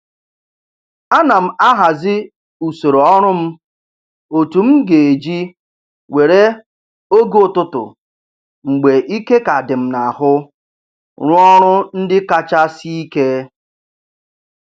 Ana m ahazi usoro ọrụ m otu m ga-eji were oge ụtụtụ mgbe ike ka dị m n'ahụ rụọ ọrụ ndị kacha sie ike